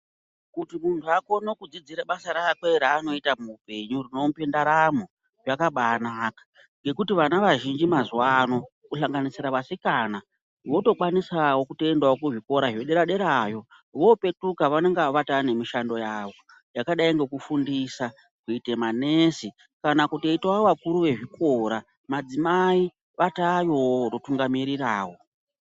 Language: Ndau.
Kuti muntu akone kudzidzira basa rake raanoita muupenyu rinomupa ndaramo ngekuti vana vazhinji mazuva ano kuhlanganisira vasikana votokwanisawo kuenda kuzvikora zvepamusoro zvedera derayo vopetuka vanenge vatanemibshando yavo yakadai ngekufundisa kita masi kana kutoitawo vakuru vezvikora madzimai atayowo anotunga mirirawo.